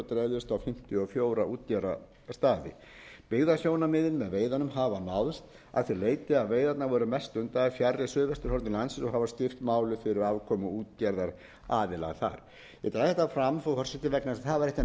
dreifðust á fimmtíu og fjögur útgerðarstaði byggðasjónarmiðin með veiðunum hafa náðst að því leyti að veiðarnar voru mest stundaðar fjarri suðvesturhorni landsins og hafa styrkt málið fyrir afkomu útgerðaraðila þar ég dreg þetta fram frú forseti vegna þess að það var eitt af